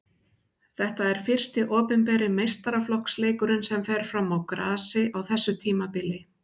Þetta er fyrsti opinberi meistaraflokksleikurinn sem fer fram á grasi á þessu tímabili.